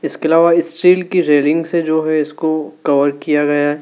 इसके अलावा स्टील की रेलिंग से जो है इसको कवर किया गया है।